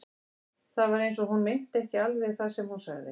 Það var eins og hún meinti ekki alveg það sem hún sagði.